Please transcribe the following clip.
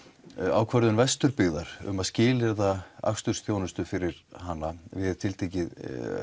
ákvörðun Vesturbyggðar um að skilyrða akstursþjónustu fyrir hana við tiltekið